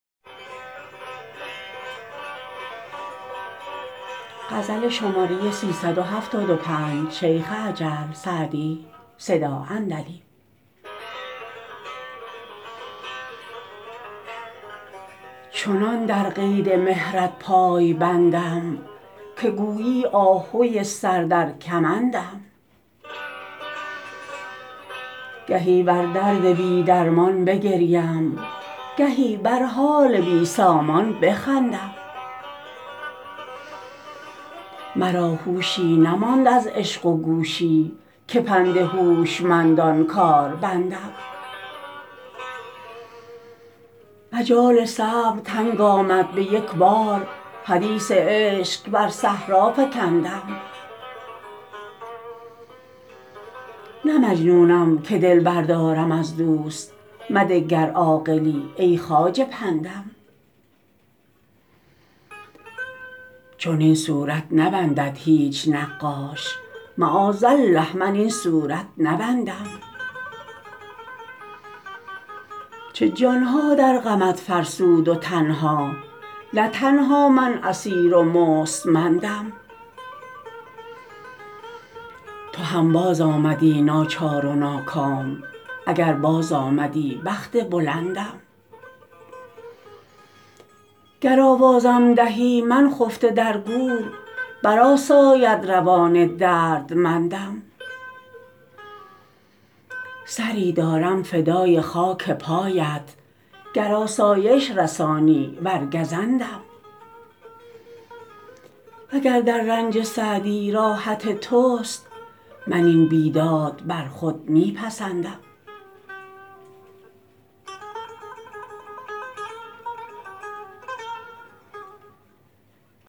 چنان در قید مهرت پای بندم که گویی آهوی سر در کمندم گهی بر درد بی درمان بگریم گهی بر حال بی سامان بخندم مرا هوشی نماند از عشق و گوشی که پند هوشمندان کار بندم مجال صبر تنگ آمد به یک بار حدیث عشق بر صحرا فکندم نه مجنونم که دل بردارم از دوست مده گر عاقلی ای خواجه پندم چنین صورت نبندد هیچ نقاش معاذالله من این صورت نبندم چه جان ها در غمت فرسود و تن ها نه تنها من اسیر و مستمندم تو هم بازآمدی ناچار و ناکام اگر بازآمدی بخت بلندم گر آوازم دهی من خفته در گور برآساید روان دردمندم سری دارم فدای خاک پایت گر آسایش رسانی ور گزندم و گر در رنج سعدی راحت توست من این بیداد بر خود می پسندم